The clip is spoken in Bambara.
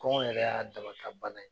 Kɔngɔ yɛrɛ y'a dama ka bana ye